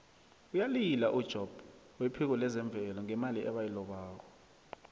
uyalila ujobb wephiko lezemvelo ngemali ebayilobako